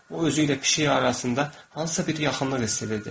O özü ilə pişik arasında hansısa bir yaxınlıq hiss edirdi.